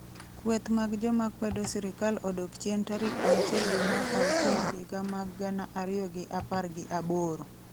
kueth mag joma kwedo sirikal odok chien tarik auchiel dwe mar auchiel higa amag gana ariyo gi apar gi aboro